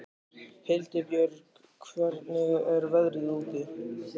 Hildibjörg, hvernig er veðrið úti?